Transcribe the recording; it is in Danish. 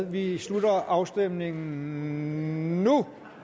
vi slutter afstemningen nu